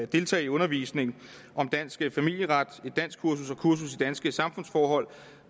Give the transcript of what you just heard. deltage i undervisning om dansk familieret et danskkursus og kursus i danske samfundsforhold